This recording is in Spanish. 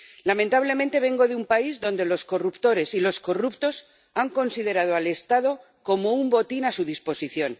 Lamentablemente, vengo de un país donde los corruptores y los corruptos han considerado al Estado como un botín a su disposición.